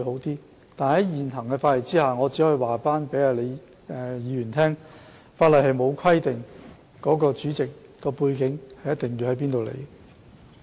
然而，在現行的法例之下，我只可以告訴李議員，法例並沒有規定主席的背景為何。